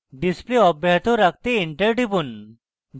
display অব্যাহত রাখতে enter টিপুন